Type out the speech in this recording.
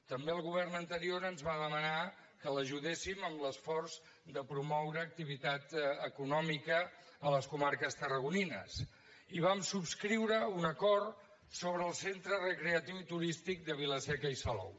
també el govern anterior ens va demanar que l’ajudéssim en l’esforç de promoure activitat econòmica a les comarques tarragonines i vam subscriure un acord sobre el centre recreatiu i turístic de vila seca i salou